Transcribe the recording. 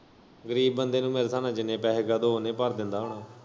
ਗਰੀਬ ਬੰਦੇ ਨੂੰ ਮੇਰੇ ਸਾਬ ਨਾਲ ਜਿੰਨੇ ਪੈਹੇ ਕਹਿ ਦੋ ਓ ਉਨੇ ਭਰ ਦਿੰਦਾ ਹੁਨਾ।